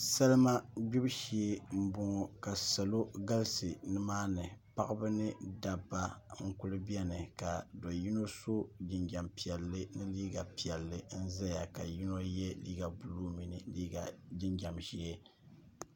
salima gbibu shee n boŋo ka salo galisi nimaani paɣaba ni dabba n kuli biɛni ka do yino so jinjɛm piɛlli ka yɛ liiga piɛlli ka ʒɛya ka yino yɛ liiga buluu ni jinjɛm ʒiɛ